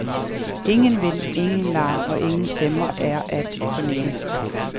Ingen vind, ingen larm og ingen stemmer er at fornemme.